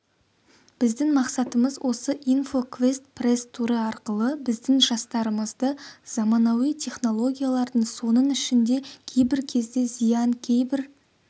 біздің мақсатымыз осы инфоквест пресс-туры арқылы біздің жастарымызды заманауи технологиялардың соның ішінде кейбір кезде зиян кейбір